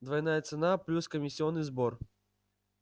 двойная цена плюс комиссионный сбор